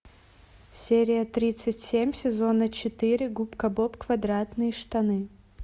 серия тридцать семь сезона четыре губка боб квадратные штаны